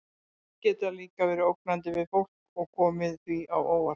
Hundar geta líka verið ógnandi við fólk og komið því á óvart.